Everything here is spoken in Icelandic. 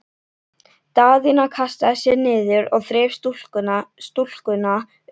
Daðína kastaði sér niður og þreif stúlkuna upp.